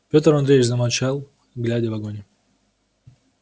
пётр андреевич замолчал глядя в огонь